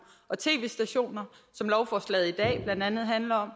og tv stationer som lovforslaget i dag blandt andet handler om